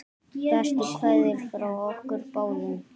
Bestu kveðjur frá okkur báðum.